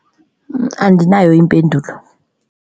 Andinayo impendulo.